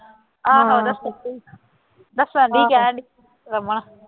ਆਹੋ ਦੱਸਣ ਡੇਈ, ਦੱਸਣ ਲਈ ਕਹਿੰਦੀ ਰਮਨ